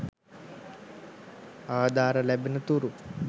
ආධාර ලැබෙන තුරු